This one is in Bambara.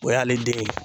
O y'ale den ye